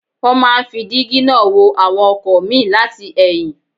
Wọ́n máa ń fi dígí náà wo àwọn ọkọ̀ míì láti ẹ̀yìn